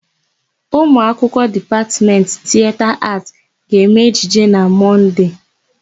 Ụmụakwụkwọ Dipatmetị Tieta Aatị ga-eme ejije na Mọnde.